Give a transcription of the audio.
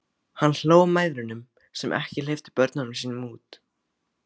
Hann hló að mæðrunum sem ekki hleyptu börnunum sínum út.